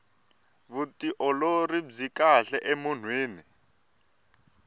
vutiolori byi kahle emunhwini